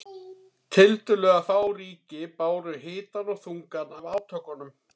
Tiltölulega fá ríki báru hitann og þungann af átökunum.